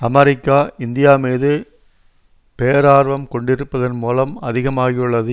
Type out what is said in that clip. America India மீது பேரார்வம் கொண்டிருப்பதன் மூலம் அதிகமாகியுள்ளது